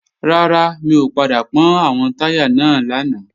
Rárá, mi ò padà pọ́n àwọn táyà náà lánàá